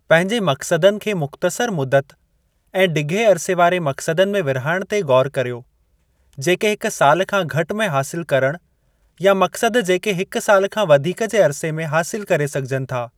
पंहिंजे मक़्सदनि खे मुख़्तसर मुदत ऐं डिघे अरिसे वारे मक़्सदनि में विर्हाइणु ते ग़ौर करियो, जेके हिक साल खां घटि में हासिल करणु या मक़्सद जेके हिक साल खां वधीक जे अरिसे में हासिल करे सघिजनि था।